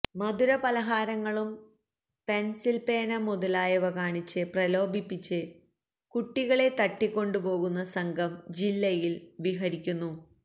മധുരപലഹാരങ്ങളും pencil പേന മുതലായവ കാണിച്ച് പ്രലോഭിപ്പിച്ച് കുട്ടികളെ തട്ടികൊണ്ടുപോകുന്ന സംഘം ജില്ലയില് വിഹരിക്കുന്നു